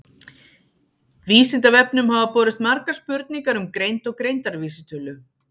Vísindavefnum hafa borist margar spurningar um greind og greindarvísitölu.